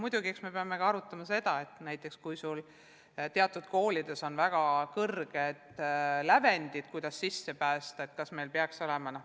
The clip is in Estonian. Muidugi me peame arutama ka, et teatud koolides on väga kõrged lävendid, et sisse pääseda.